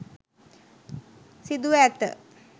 සිදුව ඇත.